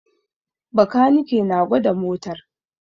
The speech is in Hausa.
Bakanike na gwada motar